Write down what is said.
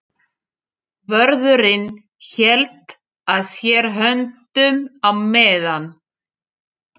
Vörðurinn hélt að sér höndum á meðan